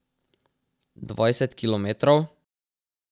Dvajset kilometrov?